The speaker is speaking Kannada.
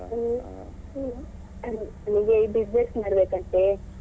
ಹಾ ಹಾ ಅವ್ನಿಗೆ business ಮಾಡ್ಬೇಕಂತೆ